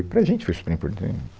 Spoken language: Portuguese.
E para a gente foi super importante.